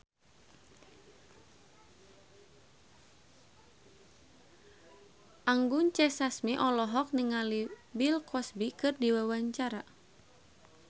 Anggun C. Sasmi olohok ningali Bill Cosby keur diwawancara